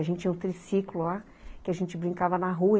A gente tinha um triciclo lá, que a gente brincava na rua.